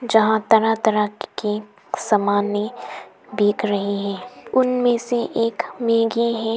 जहां तरह तरह के समाने बिक रही है । उनमें से एक मैगी है।